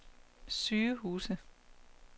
sygehuse